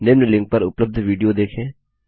निम्न लिंक पर उपलब्ध विडियो देखें